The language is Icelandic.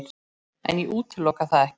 En ég útiloka það ekki.